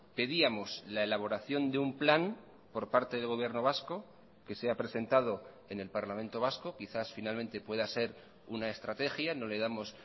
pedíamos la elaboración de un plan por parte del gobierno vasco que se ha presentado en el parlamento vasco quizás finalmente pueda ser una estrategia no le damos